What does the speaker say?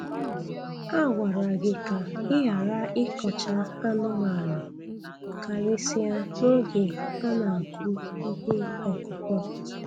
A gwara gị ka ị ghara ịkọcha anụmanụ, karịsịa n'oge a na-akụ ihe ọkụkụ.